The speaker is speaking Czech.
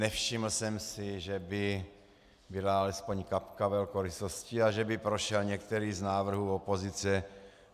Nevšiml jsem si, že by byla alespoň kapka velkorysosti a že by prošel některý z návrhů opozice.